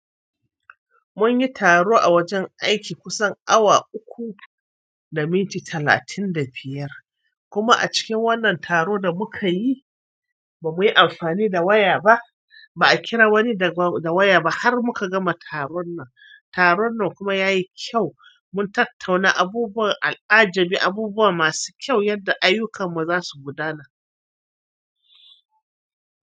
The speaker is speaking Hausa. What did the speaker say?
Munyi taro a wajen aiki kusan awa uku da minti talatin da biyar. Kuma a cikin wannan taron da mukayi ba muyi amfani da waya ba. Ba a kira wani da waya ba har muka gama taron nan. Taron nan kuma yayi kyau. Mun tattauna abubuwan al'ajabi, abubuwa masu kyau yanda ayyukan mu zasu gudana.